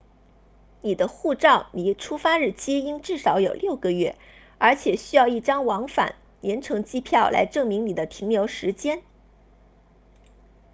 你的护照离出发日期应至少有6个月而且需要一张往返联程机票来证明你的停留时间